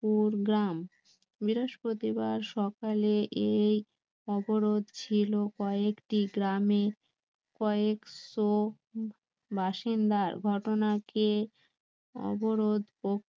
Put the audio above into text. পুর গ্রাম বৃহস্পতিবার সকালে এই অবরোধ ছিলো কয়েকটি গ্রামে কয়েকশ বাসিন্দার ঘটনাকে অবরোধ